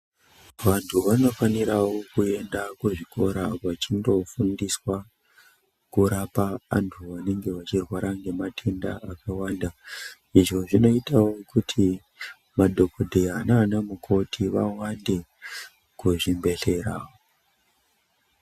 Vanthu vanofanirawo kuenda kuzvikora vachindofundiswa kurapa anthu anenge vachirwara ngematenda akawanda izvo zvinoitao kuti madhokodheya nana mukoti vawande kuzvibhedhlera.